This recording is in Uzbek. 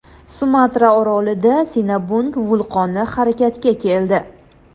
Sumatra orolida Sinabung vulqoni harakatga keldi .